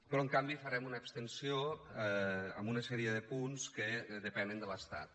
però en canvi farem una abstenció a una sèrie de punts que depenen de l’estat